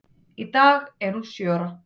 Í dag er hún sjö ára.